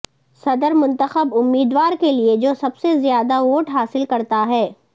صدر منتخب امیدوار کے لئے جو سب سے زیادہ ووٹ حاصل کرتا ہے